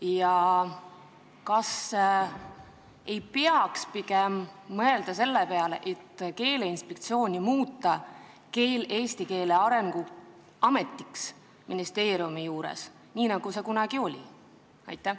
Ja kas ei peaks pigem mõtlema selle peale, et muuta Keeleinspektsioon ministeeriumi juures tegutsevaks eesti keele arendamise ametiks, nagu see kunagi oli?